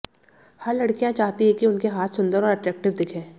हर लड़कियां चाहती है कि उनके हाथ सुन्दर और अट्रैक्टिव दिखें